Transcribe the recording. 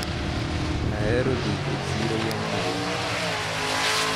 Ahero dhi e chiro gi anyuolana.